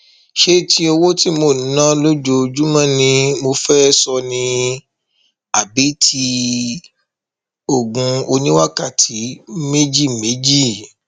ṣé ti owó tí mò ń ná lójúmọ ni mo fẹẹ sọ ni àbí tí oògùn oníwákàtí méjìméjì